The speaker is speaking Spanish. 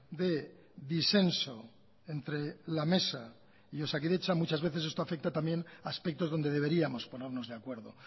de disenso entre la mesa y osakidetza muchas veces esto afecta también a aspectos donde deberíamos ponernos de acuerdo